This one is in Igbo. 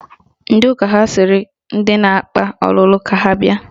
Ndị ụka ha sịrị ndị na-akpa ọlụlụ ka ha bịa